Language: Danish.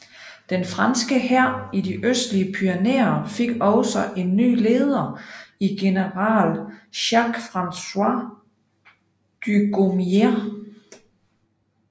Den franske hær i de østlige Pyrenæer fik også en ny leder i general Jacques François Dugommier